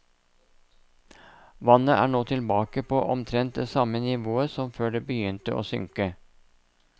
Vannet er nå tilbake på omtrent det samme nivået som før det begynte å synke.